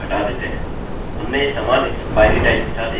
हमने समान expiry time के साथ एक अन्य कुकी सेट की है